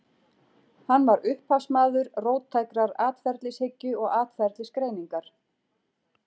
Hann var upphafsmaður róttækrar atferlishyggju og atferlisgreiningar.